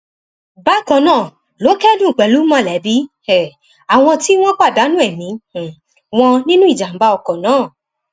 bákan náà ló kẹdùn pẹlú mọlẹbí um àwọn tí wọn pàdánù ẹmí um wọn nínú ìjàmbá ọkọ náà